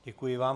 Děkuji vám.